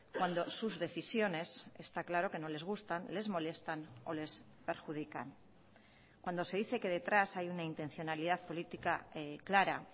cuando sus decisiones está claro que no les gustan les molestan o les perjudican cuando se dice que detrás hay una intencionalidad política clara